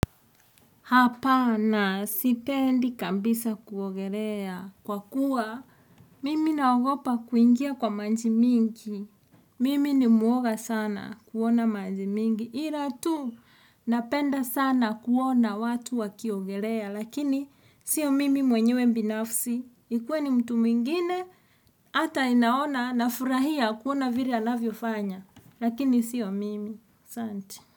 Hapana, sipendi kabisa kuogelea. Kwa kuwa, mimi naogopa kuingia kwa maji mingi. Mimi ni mwoga sana kuona maji mingi. Ila tu, napenda sana kuona watu wakiogelea. Lakini, sio mimi mwenyewe mbinafsi. Ikue ni mtu mwingine, hata naona nafurahia kuona vile anavyofanya. Lakini, sio mimi. Asante.